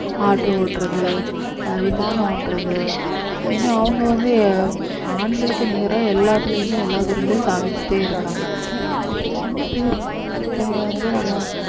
auto ஓட்டுறது ஆஹ் விமானம் ஓட்டுறது இன்னும் அவங்க வந்து அஹ் ஆண்களுக்கு நிகரா எல்லாத்துலயுமே எல்லா துறையிலும் சாதிச்சுட்டே இருக்காங்க இப்ப சின்ன பிள்ளைங்களுமே ஒரு பிள்ளைங்க வந்து நம்ம